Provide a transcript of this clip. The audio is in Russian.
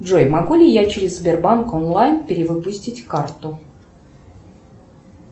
джой могу ли я через сбербанк онлайн перевыпустить карту